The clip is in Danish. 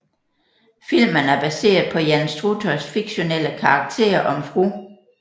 Filmen er baseret på Jan Struthers fiktionelle karakter om Fru